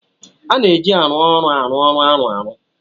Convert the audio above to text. A na-eji arụ ọrụ arụ ọrụ arụ ọrụ.